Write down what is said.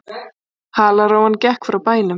Halarófan gekk frá bænum.